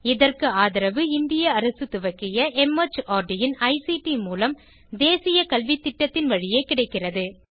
இதற்கு ஆதரவு இந்திய அரசு துவக்கிய மார்ட் இன் ஐசிடி மூலம் தேசிய கல்வித்திட்டத்தின் வழியே கிடைக்கிறது